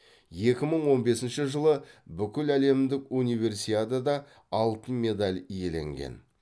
екі мың он бесінші жылы бүкіләлемдік универсиадада алтын медаль иеленген